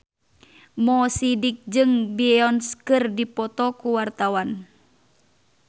Mo Sidik jeung Beyonce keur dipoto ku wartawan